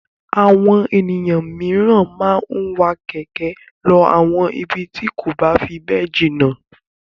Àwọn ènìyàn mìíràn máa ń wa kẹ̀kẹ́ lọ àwọn ibi tí kò bá fi bẹ́ẹ̀ jìnà.